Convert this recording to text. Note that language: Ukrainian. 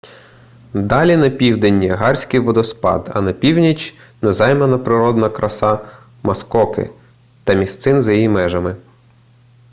далі на південь ніагарський водоспад а на північ незаймана природна краса маскоки та місцин за її межами